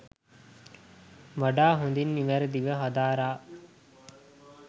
වඩා හොඳින් නිවැරැදිව හදාරා